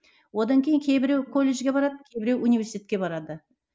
одан кейін кейбіреу колледжге барады кейбіреу университетке барады